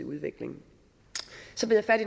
udvikling så bed jeg